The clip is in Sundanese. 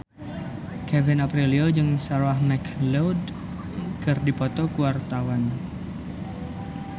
Kevin Aprilio jeung Sarah McLeod keur dipoto ku wartawan